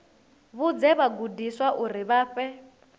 vhudze vhagudiswa uri vha fhe